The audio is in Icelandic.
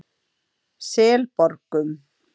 Selborgum